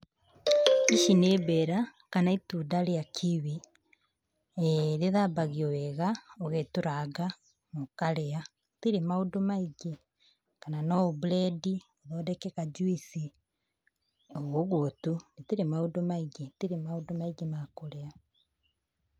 Ici nĩ mbera, kana itunda rĩa kiwi. Eh rĩthambagio wega, ũgetũranga, ũkarĩa. Rĩtirĩ maũndũ maingĩ. Kana no ũburendi, ũthondeke kajuici, o ũguo tu, rĩtirĩ maũndũ maingĩ. Rĩtirĩ maũndũ maingĩ ma kũrĩa.